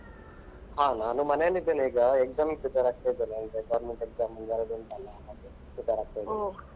ಹಾ ನಾನು ಮನೆಯಲ್ಲಿದ್ದೇನೆ ಈಗ exam ಗೆ prepare ಆಗ್ತಾ ಇದ್ದೇನೆ ಅಂದ್ರೆ government exam ಒಂದೆರಡು ಉಂಟಲ್ಲ ಅದಕ್ಕೆ prepare ಆಗ್ತಾ ಇದ್ದೇನೆ.